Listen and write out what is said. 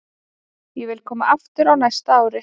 Ég vil koma aftur á næsta ári.